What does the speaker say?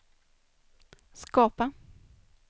skapa